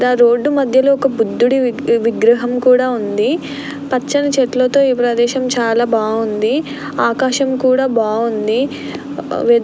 Road మధ్యలో బుధుని విగ్రహం కూడా ఉంది. పచ్చని చెట్లతో ఈ ప్రదేశం చాలా బాగుంది. ఆకాశం కూడా బాగుంది.